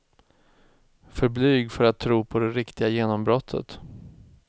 För blyg för att tro på det riktiga genombrottet.